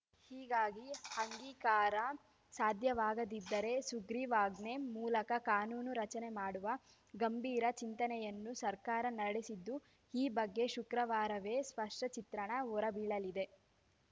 ಹೀಗಾಗಿ ಅಂಗೀಕಾರ ಸಾಧ್ಯವಾಗದಿದ್ದರೆ ಸುಗ್ರೀವಾಜ್ಞೆ ಮೂಲಕ ಕಾನೂನು ರಚನೆ ಮಾಡುವ ಗಂಭೀರ ಚಿಂತನೆಯನ್ನು ಸರ್ಕಾರ ನಡೆಸಿದ್ದು ಈ ಬಗ್ಗೆ ಶುಕ್ರವಾರವೇ ಸ್ಪಷ್ಟಚಿತ್ರಣ ಹೊರಬೀಳಲಿದೆ